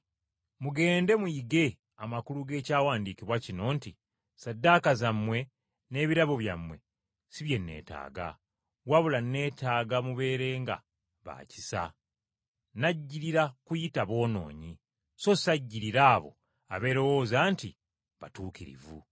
Mugende muyige amakulu g’Ekyawandiikibwa kino nti, ‘Ssaddaaka zammwe n’ebirabo byammwe si bye neetaaga, wabula neetaaga mubeerenga ba kisa.’ Najjirira kuyita boonoonyi, so sajjirira abo abeerowooza nti batuukirivu.”